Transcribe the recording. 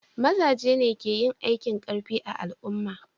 Maza ne ke yin aikin karfi a al'umma